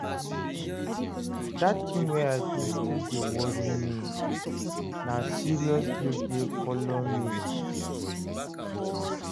Dat tin wey I do still dey worry me, na serious guilt dey folo me.